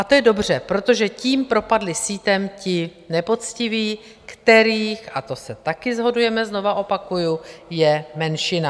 A to je dobře, protože tím propadli sítem ti nepoctiví, kterých, a to se taky shodujeme, znovu opakuji, je menšina.